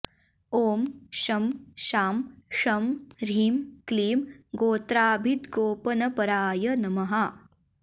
ॐ शं शां षं ह्रीं क्लीं गोत्राभिद्गोपनपराय नमः